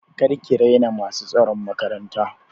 Kar ki raina masu tsaron makaranta!